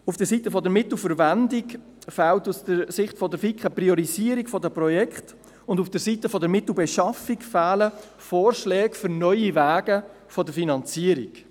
Auf Seiten der Mittelverwendung fehlt aus Sicht der FiKo eine Priorisierung der Projekte, und auf Seiten der Mittelbeschaffung fehlen Vorschläge für neue Wege der Finanzierung.